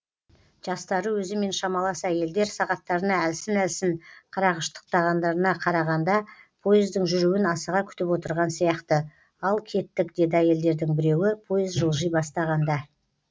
жастары өзімен шамалас әйелдер сағаттарына әлсін әлі қарағыштықтағандарына қарағанда поездың жүруін асыға күтіп отырған сияқты ал кеттік деді әйелдердің біреуі поезд жылжи бастағанда